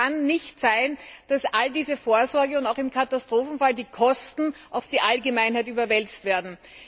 Es kann nicht sein, dass all diese Vorsorge und auch im Katastrophenfall die Kosten auf die Allgemeinheit überwälzt werden.